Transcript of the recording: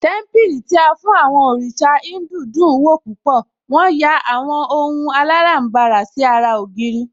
Témípìlì tí a fún àwọn òrìṣà Híńdù dùn ún wò púpọ̀, wón yà àwọn ohun aláràbarà sí ara ògiri